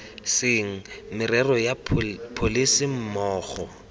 seng merero ya pholese mmogo